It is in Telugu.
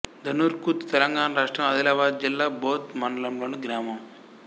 ధన్నూర్ ఖుర్ద్ తెలంగాణ రాష్ట్రం ఆదిలాబాద్ జిల్లా బోథ్ మండలంలోని గ్రామం